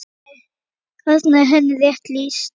Þarna er henni rétt lýst.